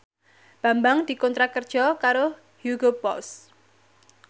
Bambang dikontrak kerja karo Hugo Boss